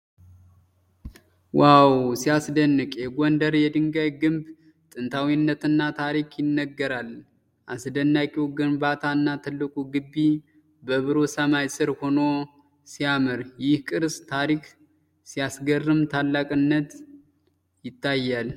ዋው ሲያስደንቅ! የጎንደር የድንጋይ ግንብ ጥንታዊነትና ታሪክ ይናገራል። አስደናቂው ግንባታና ትልቁ ግቢ በብሩህ ሰማይ ስር ሆኖ ሲያምር። ይህ የቅርስ ታሪክ ሲያስገርም! ታላቅነት ይታያል።